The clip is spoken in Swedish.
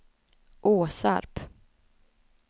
Åsarp